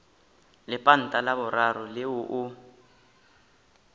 lepanta la boraro leo o